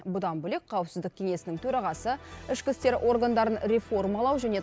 бұдан бөлек қауіпсіздік кеңесінің төрағасы ішкі істер органдарын реформалау және